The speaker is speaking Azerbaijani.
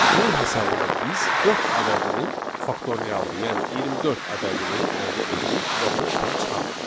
Bunun hesabına biz dörd ədədinin faktorialını, yəni 24 ədədini əldə edirik və onu ekrana çıxarırıq.